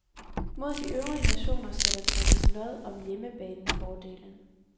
Mod de øvrige nationer skal der trækkes lod om hjemmebanefordelen.